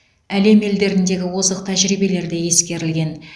әлем елдеріндегі озық тәжірибелер де ескерілген